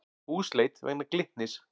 Húsleit vegna Glitnis